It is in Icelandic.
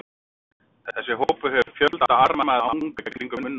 Þessi hópur hefur fjölda arma eða anga í kringum munnopið.